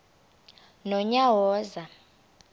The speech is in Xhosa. nonyawoza